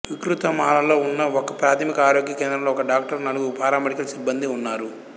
విక్రుతమాలలో ఉన్న ఒకప్రాథమిక ఆరోగ్య కేంద్రంలో ఒక డాక్టరు నలుగురు పారామెడికల్ సిబ్బందీ ఉన్నారు